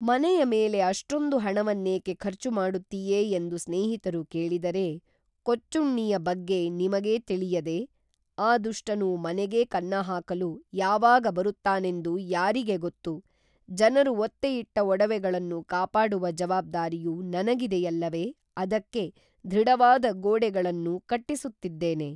ಮನೆಯ ಮೇಲೆ ಅಷ್ಟೊಂದು ಹಣವನ್ನೇಕೇ ಖರ್ಚು ಮಾಡುತ್ತೀಯೆ ಎಂದು ಸ್ನೇಹಿತರು ಕೇಳಿದರೇ ಕೊಚ್ಚುಣ್ಣಿಯ ಬಗ್ಗೇ ನಿಮಗೇ ತಿಳಿಯದೇ ಆ ದುಷ್ಟನು ಮನೆಗೇ ಕನ್ನಹಾಕಲು ಯಾವಾಗ ಬರುತ್ತಾನೆಂದು ಯಾರಿಗೇ ಗೊತ್ತು ಜನರು ಒತ್ತೆಯಿಟ್ಟ ಒಡವೆಗಳನ್ನು ಕಾಪಾಡುವ ಜವಾಬ್ದಾರಿಯು ನನಗಿದೆಯಲ್ಲವೆ ಅದಕ್ಕೆ ದೃಢವಾದ ಗೋಡೆಗಳನ್ನು ಕಟ್ಟಿಸುತ್ತಿದ್ದೇನೆ